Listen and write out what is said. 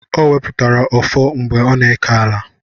Ọ wepụtara ọfọ mgbe ọ na-eke ala